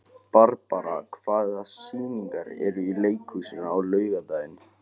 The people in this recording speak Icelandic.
Barbara, hvaða sýningar eru í leikhúsinu á laugardaginn?